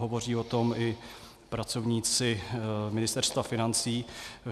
Hovoří o tom i pracovníci Ministerstva financí.